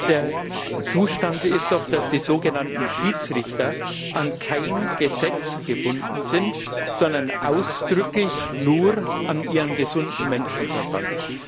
Der Zustand ist doch, dass die sogenannten Schiedsrichter an kein Gesetz gebunden sind, sondern ausdrücklich nur an ihren gesunden Menschenverstand.